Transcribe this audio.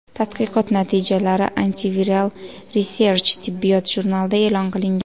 Tadqiqot natijalari Antiviral Research tibbiyot jurnalida e’lon qilingan .